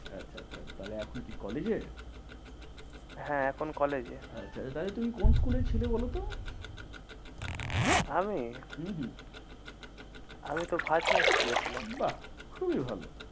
আচ্ছা আচ্ছা তাহলে এখন কি college এ হ্যাঁ এখন college এ। আচ্ছা আচ্ছা তাহলে তুমি কোন school এ ছিলে বলতো? আমি হম হম আমি তো ভাজনা school এ ছিলাম। বাহ খুবই ভালো।